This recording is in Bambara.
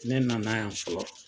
Ne nana yan fɔlɔ.